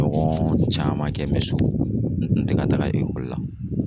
Ɲɔgɔn caman kɛ me so n tɛ ka taga ekɔli la